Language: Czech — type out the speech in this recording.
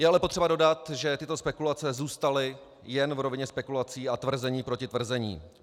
Je ale potřeba dodat, že tyto spekulace zůstaly jen v rovině spekulací a tvrzení proti tvrzení.